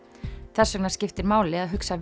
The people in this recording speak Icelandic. þessvegna skiptir máli að hugsa